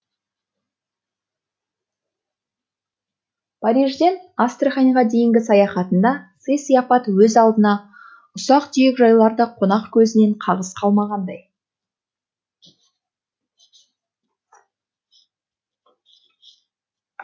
парижден астраханьға дейінгі саяхатында сый сияпат өз алдына ұсақ түйек жайлар да қонақ көзінен қағыс қалмағандай